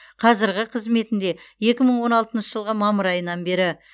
қазірғі қызметінде екі мың он алтыншы жылғы мамыр айынан бері